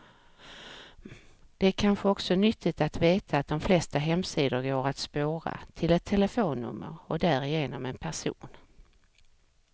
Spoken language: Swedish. Det är kanske också nyttigt att veta att de flesta hemsidor går att spåra, till ett telefonnummer och därigenom en person.